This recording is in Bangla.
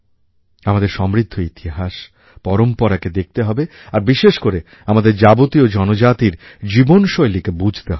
আমাদের সমৃদ্ধ ইতিহাস পরম্পরাকে দেখতে হবে আর বিশেষ করে আমাদের যাবতীয় জনজাতির জীবনশৈলীকে বুঝতে হবে